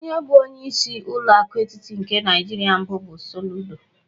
Onye bụ onyeisi ụlọ aku etiti nke Naijiria mbụ bụ Soludo.